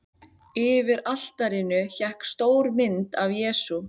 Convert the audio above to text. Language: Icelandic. Yfir altarinu hékk stór mynd af Jesú.